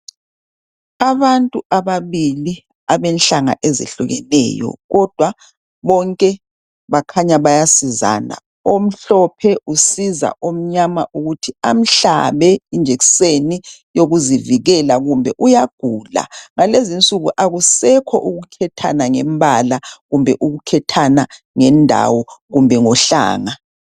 Abantu ababili abenhlanga ezehlukeneyo kodwa bonke bakhanya bayasizana. Omhlophe usiza omnyama ukuthi amhlabe injekiseni yokuzivikela kumbe uyagula. Ngalezi nsuku akusekho ukukhethana ngembala, kumbe ukukhethana ngendawo kumbe ngohlanga.